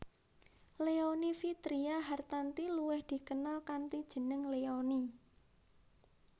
Leony Vitria Hartanti luwih dikenal kanthi jeneng Leony